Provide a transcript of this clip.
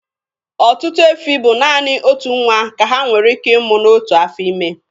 Ọtụtụ efi bụ naanị otu nwa ka ha nwere ịmụ n'otu afọ ime.